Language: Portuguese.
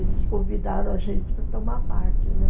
eles convidaram a gente para tomar parte, né?